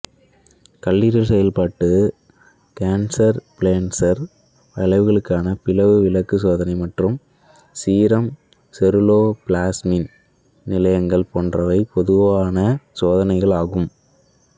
கல்லீரல் செயல்பாடு கேசர்ஃபிலெஸ்ச்சர் வளைவுகளுக்கான பிளவு விளக்குச் சோதனை மற்றும் சீரம் செருலோபிளாஸ்மின் நிலைகள் போன்றவை பொதுவான சோதனைகள் ஆகும்